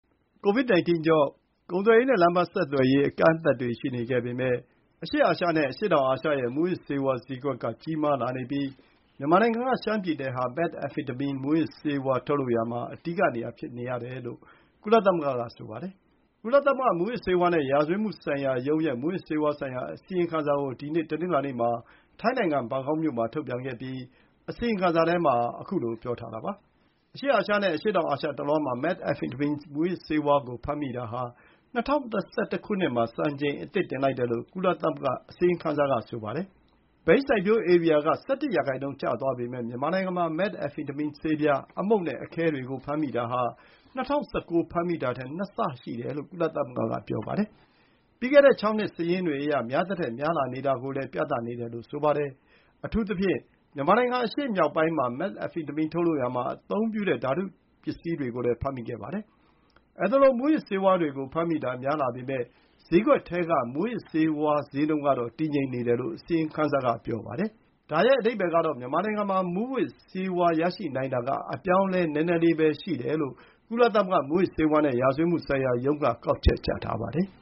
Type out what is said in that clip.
ကိုဗစ် 19 ကြောင့် ကုန်သွယ်ရေးနဲ့ လမ်းပန်းဆက်သွယ်ရေး အကန့်အသတ်တွေ ရှိခဲ့ပေမယ့် အရှေ့အာရှနဲ့ အရှေ့တောင်အာရှရဲ့ မူးယစ်ဆေးဝါး ဈေးကွက်က ချဲ့လာနေပြီး မြန်မာနိုင်ငံက ရှမ်းပြည်နယ်ဟာ Methamphetamine မူးယစ်ဆေးဝါး ထုတ်လုပ်ရာ အဓိကနေရာ ဖြစ်နေတယ်လို့ ကုလသမဂ္ဂက ဆိုပါတယ်။ ကုလသမဂ္ဂ မူးယစ်ဆေးဝါးနဲ့ ရာဇဝတ်မှုတိုက်ဖျက်ရေးဌာန UNODC ရဲ့ မူးယစ်ဆေးဝါးဆိုင်ရာ အစီရင်ခံစာကို ဒီနေ့ တနင်္လာနေ့၊ ထိုင်းနိုင်ငံ ဘန်ကောက်မြို့မှာ ထုတ်ပြန်ခဲ့ပြီး အစီရင်ခံစာထဲမှာ ခုလို ပြောထားတာပါ။ အရှေ့အာရှနဲ့ အရှေ့တောင်အာရှတလွှားမှာ Methamphetamine မူးယစ်ဆေးဝါးကို ဖမ်းမိတာဟာ ၂၀၂၁ မှာ စံချိန်အသစ် တင်လိုက်တယ်လို့ ကုလသမဂ္ဂအစီရင်ခံစာက ဆိုပါတယ်။ ဘိန်း စိုက်ပျိုးဧရိယာက ၁၁ ရာနှုန်း ကျသွားပေမဲ့ မြန်မာနိုင်ငံမှာ Methamphetamine ဆေးပြား၊ အမှုန့်နဲ့အခဲတွေကို ဖမ်းမိတာဟာ ၂၀၁၉ က ဖမ်းမိတာထက် ၂ ဆ ရှိတယ်လို့ ကုလသမဂ္ဂက ပြောပါတယ်။ ပြီးခဲ့တဲ့ ၆ နှစ် စာရင်းတွေအရ များသထက်များလာနေတာကို ပြနေတယ်လို့လည်း ဆိုပါတယ်။ အထူးသဖြင့် မြန်မာနိုင်ငံ အရှေ့မြောက်ပိုင်းမှာ Methamphetamine ထုတ်လုပ် ရာမှာ အသုံးပြုတဲ့ ဓာတုပစ္စည်းတွေကိုလည်း ဖမ်းမိခဲ့ပါတယ်။ အဲသလို မူးယစ်ဆေးဝါးတွေကို ဖမ်းမိတာ များလာပေမယ့် ဈေးကွက်ထဲက မူးယစ်ဆေးဝါးဈေးနှုန်းကတော့ တည်ငြိမ်နေတယ်လို့ အစီရင်ခံစာက ပြောပါတယ်။ ဒါရဲ့အဓိပ္ပါယ်ကတော့ မြန်မာနိုင်ငံမှာ မူးယစ် ဆေးဝါးရနိုင်တာက အပြောင်းအလဲ နည်းနည်းလေးပဲရှိတယ်လို့ ကုလသမဂ္ဂ မူးယစ်ဆေးဝါးနဲ့ ရာဇဝတ်မှုဆိုင်ရာရုံးက ကောက်ချက်ချထားပါတယ်။